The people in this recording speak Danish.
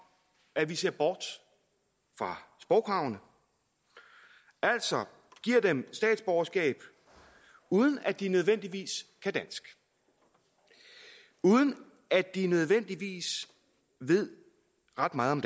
at vi ser bort fra sprogkravene altså giver dem statsborgerskab uden at de nødvendigvis kan dansk uden at de nødvendigvis ved ret meget om